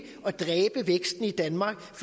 at dræbe væksten i danmark